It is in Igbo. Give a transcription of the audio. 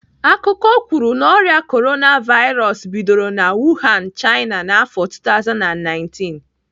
Akụkọ kwuru na ọrịa Korona vairos bidoro na Wuhan, China n'afọ 2019.